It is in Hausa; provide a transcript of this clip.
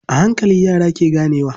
A hankali, yara ke ganewa.